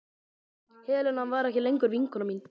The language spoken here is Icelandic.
Helena var ekki lengur vinkona mín.